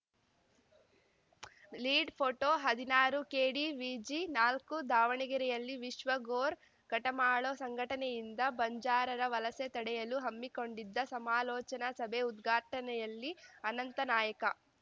lead photo ಹದಿನಾರುಕೆಡಿವಿಜಿನಾಲ್ಕು ದಾವಣಗೆರೆಯಲ್ಲಿ ವಿಶ್ವ ಗೋರ್‌ ಕಟಮಾಳೊ ಸಂಘಟನೆಯಿಂದ ಬಂಜಾರರ ವಲಸೆ ತಡೆಯಲು ಹಮ್ಮಿಕೊಂಡಿದ್ದ ಸಮಾಲೋಚನಾ ಸಭೆ ಉದ್ಘಾಟನೆಯಲ್ಲಿ ಅನಂತ ನಾಯ್ಕ